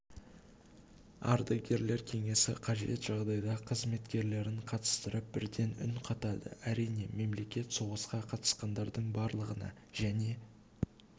адагерлер кеңесі қажет жағдайда қызметкерлерін қатыстырып бірден үн қатады әрине мемлекет соғысқа қатысқандардың барлығына және